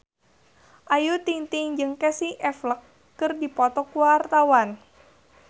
Ayu Ting-ting jeung Casey Affleck keur dipoto ku wartawan